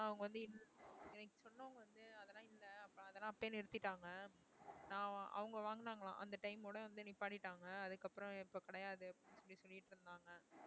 எனக்கு சொன்னவங்க வந்து அதெல்லாம் இல்லை அதெல்லாம் அப்பயே நிறுத்திட்டாங்க நான் அவங்க வாங்குனாங்களாம் அந்த time ஓட வந்து நிப்பாட்டிட்டாங்க அதுக்கப்புறம் இப்ப கிடையாது அப்படின்னு சொல்லிட்டிருந்தாங்க.